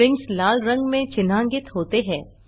strings लाल रंग में चिन्हांकित होते हैं